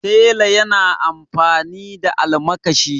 tela yana amfani da almakashi